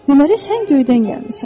Deməli sən göydən gəlmisən.